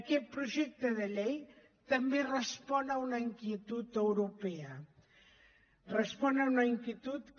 aquest projecte de llei també respon a una inquietud europea respon a una inquietud que